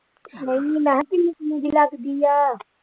ਨਹੀਂ ਮੀਆਂ ਕਿਹਾ ਕਿੰਨੇ ਕਿੰਨੇ ਦੀ ਲਗਦੀ ਆ।